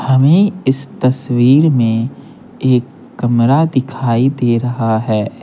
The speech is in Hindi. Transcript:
हमें इस तस्वीर में एक कमरा दिखाई दे रहा है।